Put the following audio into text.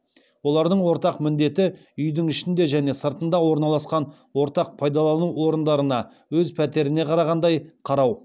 олардың ортақ міндеті үйдің ішінде және сыртында орналасқан ортақ пайдалану орындарына өз пәтеріне қарағандай қарау